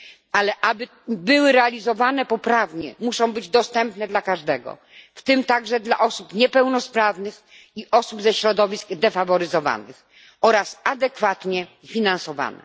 Ale aby były realizowane poprawnie, muszą być dostępne dla każdego, w tym także dla osób niepełnosprawnych i osób ze środowisk defaworyzowanych, oraz adekwatnie finansowane.